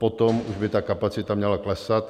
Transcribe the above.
Potom už by ta kapacita měla klesat.